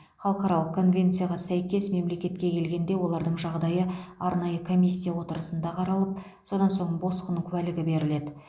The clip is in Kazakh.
халықаралық конвенцияға сәйкес мемлекетке келгенде олардың жағдайы арнайы комиссия отырысында қаралып содан соң босқын куәлігі беріледі